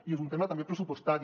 i és un tema també pressupostari